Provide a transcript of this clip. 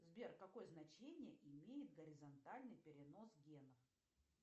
сбер какое значение имеет горизонтальный перенос генов